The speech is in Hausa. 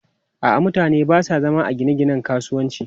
A'a, mutane ba sa zama a gine-ginen kasuwanci.